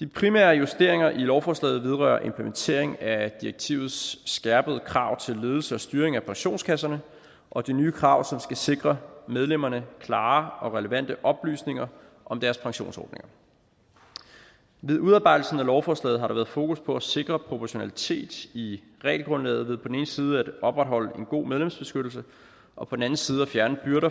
de primære justeringer af lovforslaget vedrører implementering af direktivets skærpede krav til ledelse og styring af pensionskasserne og de nye krav som skal sikre medlemmerne klare og relevante oplysninger om deres pensionsordninger ved udarbejdelsen af lovforslaget har der været fokus på at sikre proportionalitet i regelgrundlaget ved på den ene side at opretholde en god medlemsbeskyttelse og på den anden side at fjerne byrder